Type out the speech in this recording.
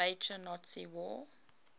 major nazi war